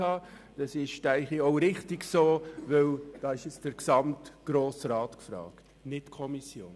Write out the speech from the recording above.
Das ist meines Erachtens auch richtig, denn hier ist der gesamte Grosse Rat gefragt und nicht die Kommission.